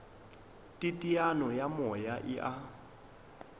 teteano ya moya e a